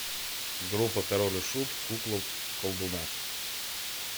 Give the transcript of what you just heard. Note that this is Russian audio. группа король и шут кукла колдуна